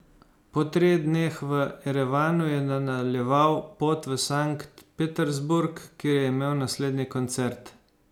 Po treh dneh v Erevanu je nadaljeval pot v Sankt Peterburg, kjer je imel naslednji koncert.